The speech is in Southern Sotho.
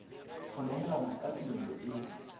ho nehelana ka tumello e